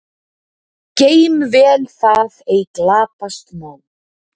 Geym vel það ei glatast má.